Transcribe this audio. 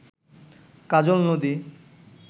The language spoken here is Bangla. কাজল নদী